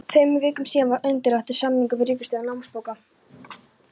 Tveimur vikum síðar var undirritaður samningur við Ríkisútgáfu námsbóka.